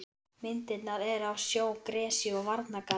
Myndirnar eru af sjó, gresju og varnargarði.